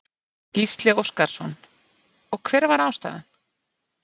Gísli Óskarsson: Og hver var ástæðan?